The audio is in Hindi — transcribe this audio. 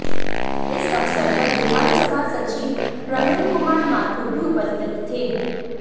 इस अवसर पर विधानसभा सचिव प्रमिल कुमार माथुर भी उपस्थित थे